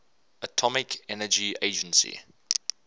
atomic energy agency